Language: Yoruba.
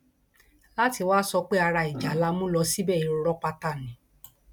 láti wàá sọ pé ara ìjà la mú lọ síbẹ irọ pátá ni